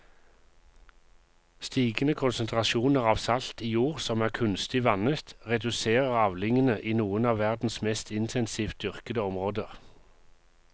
Stigende konsentrasjoner av salt i jord som er kunstig vannet reduserer avlingene i noen av verdens mest intensivt dyrkede områder.